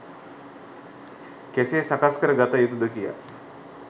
කෙසේ සකස් කර ගත යුතුද කියා.